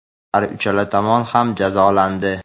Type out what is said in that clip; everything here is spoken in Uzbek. har uchala tomon ham jazolandi.